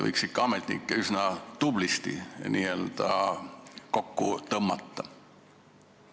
Võiks ehk ametnikkonda üsna tublisti kokku tõmmata?